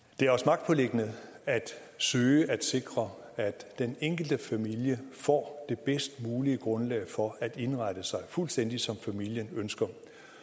det er os magtpåliggende at søge at sikre at den enkelte familie får det bedst mulige grundlag for at indrette sig fuldstændig som familien ønsker